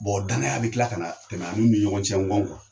Bɔn danaya bɛ tila ka na tɛmɛ ani u ni ɲɔgɔn cɛ n kɔ kuwa!